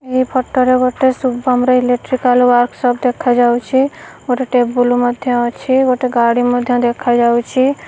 ଏଇ ଫଟ ରେ ଗୋଟେ ଶୁଭମ୍ ର ଇଲେକ୍ଟ୍ରିକାଲ ୱାର୍କସପ ଦେଖା ଯାଉଚି। ଗୋଟେ ଟେବୁଲ ମଧ୍ୟ ଅଛି ଗୋଟେ ଗାଡ଼ି ମଧ୍ୟ ଦେଖା ଯାଉଚି।